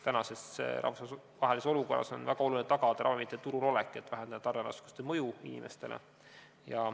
Praeguses rahvusvahelises olukorras on väga oluline tagada ravimite turul olek, et vähendada tarneraskuste mõju inimestele.